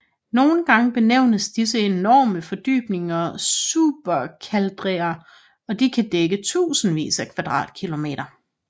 Nogle gange benævnes disse enorme fordybninger supercalderaer og de kan dække tusindvis af kvadratkilometer